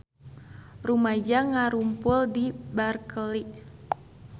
Rumaja ngarumpul di Berkeley